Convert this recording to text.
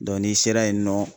n'i sera yennɔ.